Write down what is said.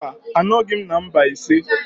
Mba, anọghị m na Mbaise.